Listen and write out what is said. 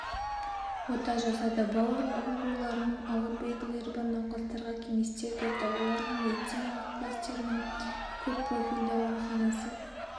ота жасады бауыр ауруларының ауыр белгілері бар науқастарға кеңестер берді оларға медицина кластерінің көппрофильді ауруханасы